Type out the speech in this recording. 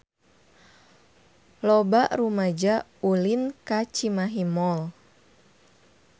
Loba rumaja ulin ka Cimahi Mall